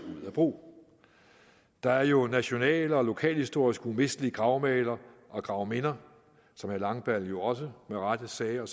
ud af brug der er jo nationale og lokalhistoriske umistelige gravmæler og gravminder som herre langballe jo også med rette sagde og